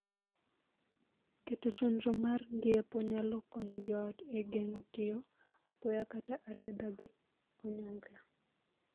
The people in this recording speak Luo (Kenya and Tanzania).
Keto chenro mar ng'iepo nyalo konyo joot e geng'o tiyo apoya kata arietha gi onyongla.